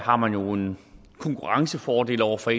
har man jo en konkurrencefordel over for